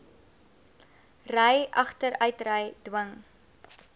ry agteruitry dwing